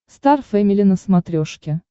стар фэмили на смотрешке